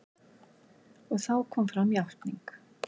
Og þá kom fram játning.